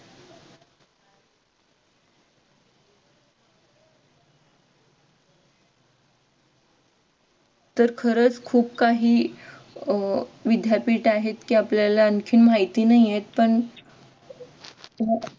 तर खरच खूप काही अह विद्यापीठ आहे की आपल्याला आणखीन माहिती नाहीयेत पण